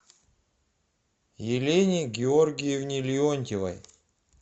елене георгиевне леонтьевой